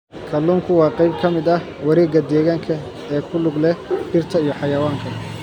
Kalluunku waa qayb ka mid ah wareegga deegaanka ee ku lug leh dhirta iyo xayawaanka.